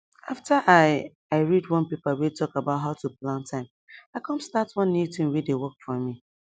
after i i read one paper way talk about how to plan time i come start one new tin wey dey work for me